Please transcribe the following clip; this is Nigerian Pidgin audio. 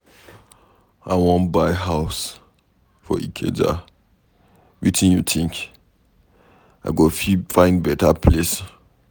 I wan buy house for Ikeja, wetin you think? I go fit find beta place?